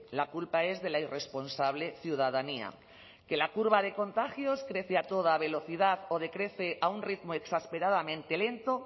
la culpa es de la irresponsable ciudadanía que la curva de contagios crece a toda velocidad o decrece a un ritmo exasperadamente lento